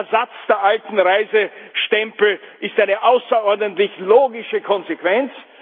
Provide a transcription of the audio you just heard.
Der Ersatz der alten Reisestempel ist eine außerordentlich logische Konsequenz.